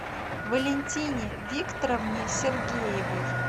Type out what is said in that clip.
валентине викторовне сергеевой